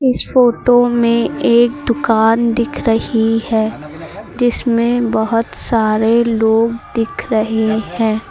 इस फोटो में एक दुकान दिख रही है जिसमें बहोत सारे लोग दिख रहे हैं।